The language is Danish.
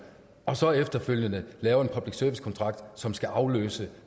og så efterfølgende lave en public service kontrakt som skal afløse